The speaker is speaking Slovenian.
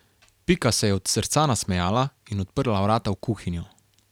Pika se je od srca nasmejala in odprla vrata v kuhinjo.